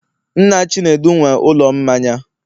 nna chinedu nwe ụlọ mmanya